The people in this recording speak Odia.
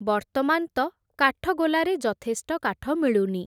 ବର୍ତ୍ତମାନ୍ ତ କାଠଗୋଲାରେ ଯଥେଷ୍ଟ କାଠ ମିଳୁନି ।